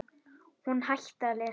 Hún hætti að lesa.